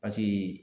Paseke